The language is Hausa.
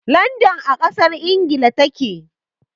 Landan a ƙasar Ingila ta ke.